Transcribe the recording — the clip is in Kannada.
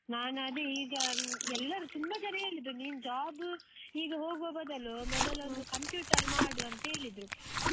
ನಾನದೇ ಈಗ ಎಲ್ಲರು ತುಂಬ ಜನ ಹೇಳಿದ್ರು, ನೀನ್ job ಈಗ ಹೋಗುವ ಬದಲು ಮೊದಲೊಂದು computer ಮಾಡು ಅಂತ ಹೇಳಿದ್ರು.